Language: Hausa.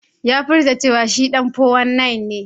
Ya furta cewa shi 419 ne.